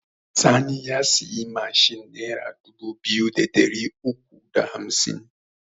Sani ya siyi mashin nera dubu biyu da ɗari uku da hamsin